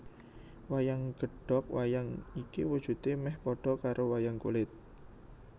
Wayang Gedog Wayang iki wujudè mèh padha karo wayang kulit